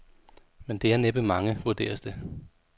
Men det er næppe mange, vurderes det.